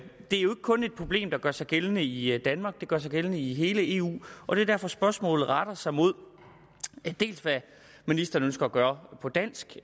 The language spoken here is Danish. kun et problem der gør sig gældende i i danmark det gør sig gældende i hele eu og det er derfor spørgsmålet retter sig mod hvad ministeren ønsker at gøre på dansk